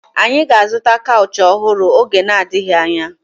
Anyị ga-azụta kaụchị ọhụrụ oge na-adịghị anya